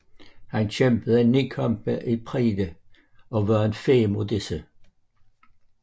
Han kæmpede 9 kampe i Pride og vandt fem af disse